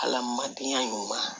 Ala madenya ɲuman